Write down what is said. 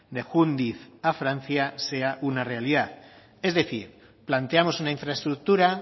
de jundiz a francia sea una realidad es decir planteamos una infraestructura